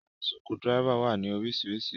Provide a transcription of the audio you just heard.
Àwọn sukudiráifa wa ni orísiríṣí.